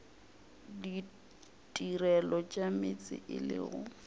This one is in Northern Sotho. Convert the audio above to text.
ditirelo tša meetse e lego